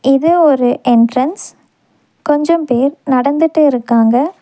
இது ஒரு எண்ட்ரன்ஸ் கொஞ்சோம் பேர் நடந்துட்டு இருக்காங்க.